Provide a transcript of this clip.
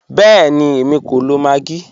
Bẹẹ̀ni, èmi kò lọ maggi.